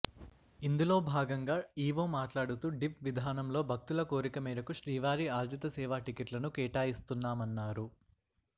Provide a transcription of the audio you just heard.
ఇందులో భాగంగా E O మాట్లాడుతూ డిప్ విధానంలో భక్తుల కోరిక మేరకు శ్రీవారి ఆర్జిత సేవా టికెట్లను కేటాయిస్తున్నామన్నారు